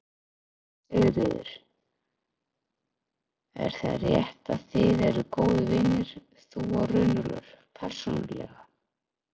Sigríður: Er það rétt að þið eruð góðir vinir, þú og Runólfur, persónulega?